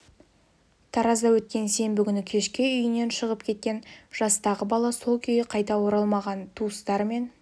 таразда өткен сенбі күні кешке үйінен шығып кеткен жастағы бала сол күйі қайта оралмаған туыстары мен